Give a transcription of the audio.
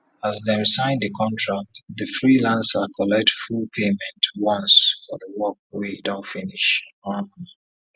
as dem sign the contract the freelancer collect full payment once for the work wey e don finish um